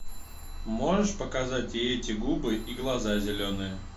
можешь показать и эти губы и глаза зеленые